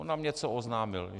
On nám něco oznámil.